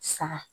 Sa